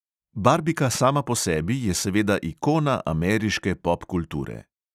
Barbika sama po sebi je seveda ikona ameriške popkulture.